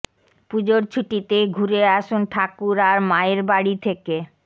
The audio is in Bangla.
পুজোর ছুটিতে ঘুরে আসুন ঠাকুর আর মায়ের বাড়ি থেকে